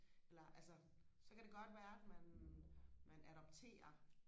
eller altså så kan det godt være at man man adopterer